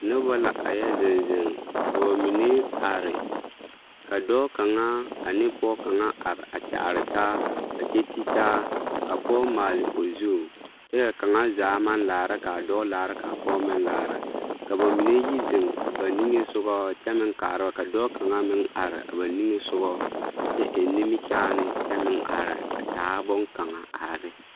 Noba la a yɛ zeŋ zeŋ ka ba mine are ka dɔɔ kaŋa ane pɔge kaŋa are a kyaare taa a kyɛ ti taa ka pɔge maale o zu kyɛ ka kaŋa zaa maŋ laara ka a dɔɔ laara ka a pɔge meŋ laara ka ba mine yi zeŋ a ba nige soga kyɛ meŋ kaara ka dɔɔ kaŋa are a ba nige soga kyɛ eŋ nimikyaane kyɛ meŋ are a taa bonne kaŋa are ne.